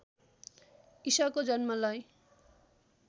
ईसाको जन्मलाई